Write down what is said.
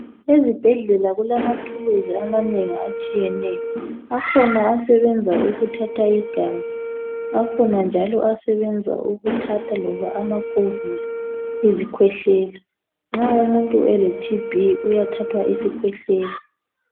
Ezibhedlela kulamathulusi amanengi atshiyeneyo. Akhona asebenza ukuthatha igazi akhona njalo asebenza ukuthatha loba amakhovula, izikhwehlela. Nxa umuntu ele"TB" uyathathwa isikhwehlela.